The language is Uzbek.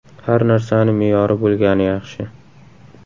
Har narsani me’yori bo‘lgani yaxshi.